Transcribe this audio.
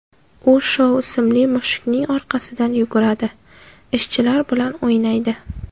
U Shou ismli mushukning orqasidan yuguradi, ishchilar bilan o‘ynaydi.